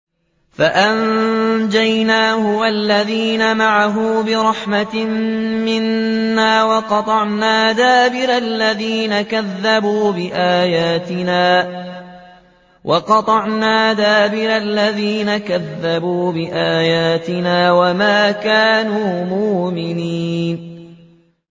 فَأَنجَيْنَاهُ وَالَّذِينَ مَعَهُ بِرَحْمَةٍ مِّنَّا وَقَطَعْنَا دَابِرَ الَّذِينَ كَذَّبُوا بِآيَاتِنَا ۖ وَمَا كَانُوا مُؤْمِنِينَ